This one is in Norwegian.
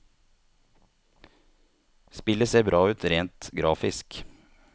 Spillet ser bra ut rent grafisk.